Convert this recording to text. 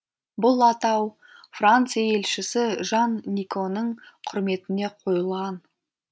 бұл атау франция елшісі жан никоның құрметіне қойылған